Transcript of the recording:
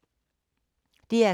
DR K